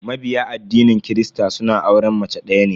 Mabiya addinin kirista suna auren mace daya ne.